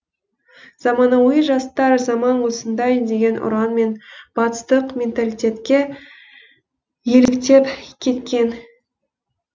заманауи жастар заман осындай деген ұранмен батыстық менталитетке еліктеп кеткен